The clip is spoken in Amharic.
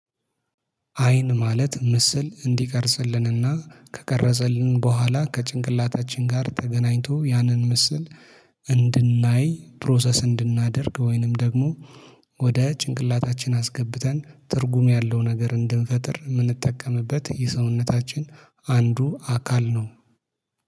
አይን ማለት ምስል እንዲቀርጽልንና ከቀረጸልን በኋላ ከጭንቅላታችን ጋር ተገናኝቶ ያንን ምስል እንድናይ ፕሮሰስ እንድናደርግ ወይንም ደግሞ ወደ ጭንቅላታችን አስገብተን ትርጉም ያለው ነገር እንድንፈጥር የምንጠቀምበት የሰውነታችን አንዱ አካል ነው